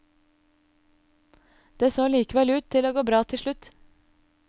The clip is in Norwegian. Det så likevel ut til å gå bra til slutt.